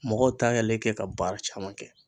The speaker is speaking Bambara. Mɔgɔw t'ale kɛ ka baara caman kɛ.